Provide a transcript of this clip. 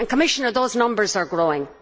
And Commissioner, those numbers are growing.